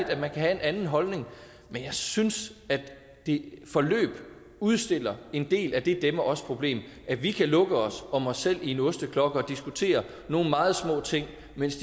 at man kan have en anden holdning men jeg synes at det forløb udstiller en del af det dem og os problem at vi kan lukke os om os selv i en osteklokke og diskutere nogle meget små ting mens